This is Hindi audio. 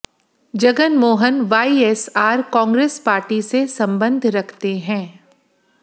जगन मोहन वाईएसआर कांग्रेस पार्टी से संबंध रखते हैं